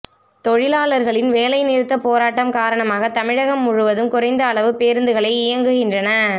தொழிலாளார்களின் வேலை நிறுத்தப்போராட்டம் காரணமாக தமிழகம் முழுவதும் குறைந்த அளவு பேருந்துகளே இயங்குகின்றன